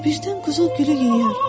Birdən quzu gülü yeyər.